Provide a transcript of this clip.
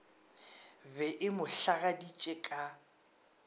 be e mo hlagaditše ka